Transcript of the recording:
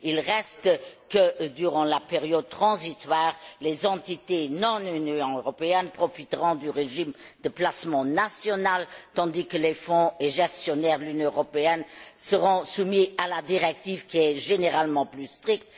Il reste que, durant la période transitoire, les entités non Union européenne profiteront du régime de placement national, tandis que les fonds et gestionnaires de l'Union européenne seront soumis à la directive qui est généralement plus stricte.